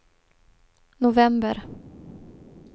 november